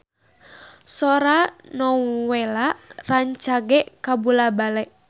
Sora Nowela rancage kabula-bale